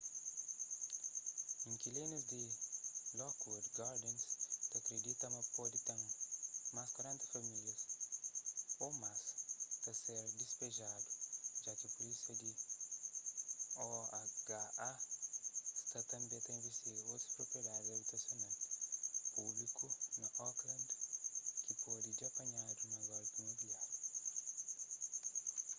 inkilinus di lockwood gardens ta kridita ma pode ten más 40 famílias ô más ta ser dispejadu ja ki pulísia di oha sta tanbê ta invistiga otus propriedadi abitasional públiku na oakland ki pode dja panhadu na golpi imobiláriu